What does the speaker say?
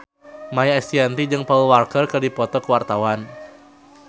Maia Estianty jeung Paul Walker keur dipoto ku wartawan